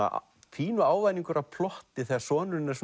pínu ávæningur af plotti þegar sonurinn er